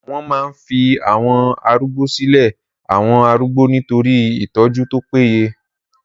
Wọ́n máa ń fi àwọn arúgbó silé àwọn arúgbó nitori itọ́jú tó paye